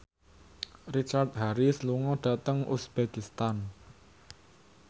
Richard Harris lunga dhateng uzbekistan